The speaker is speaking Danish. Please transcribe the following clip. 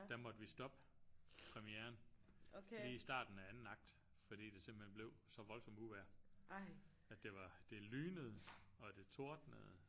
Der måtte vi stoppe premieren lige i starten af anden akt fordi det simpelthen blev så voldsomt uvejr at det var det lynede og det tordnede